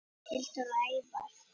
Hildur og Ævar.